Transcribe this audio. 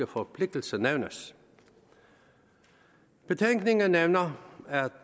forpligtelser nævnes betænkningen nævner at